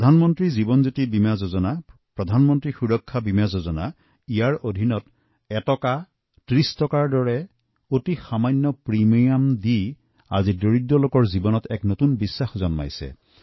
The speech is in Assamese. প্ৰধানমন্ত্ৰী জীৱনজ্যোতি বীমা যোজনা প্ৰধানমন্ত্ৰী সুৰক্ষা বীমা যোজনাত ক্ৰমে মাত্ৰ এটকা আৰু তিনি টকা প্ৰিমিয়াম দি আজি সেই দুখীয়া লোকসকলৰ জীৱনত নতুন আত্মবিশ্বাস গঢ় লৈছে